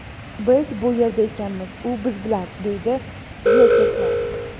Biz bu yerda ekanmiz, u biz bilan”, deydi Vyacheslav.